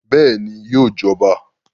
Bẹ́ẹ̀ni, yóò jọba